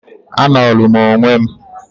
"A nolu m onwe m...."